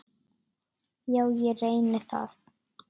Já, ég reyni það.